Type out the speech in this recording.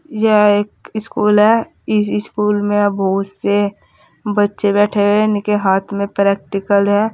यह एक स्कूल है इस स्कूल में बहुत से बच्चे बैठे हुए हैं इनके हाथ में प्रैक्टिकल है।